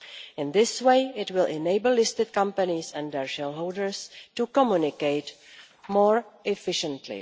In this way it will enable listed companies and their shareholders to communicate more efficiently.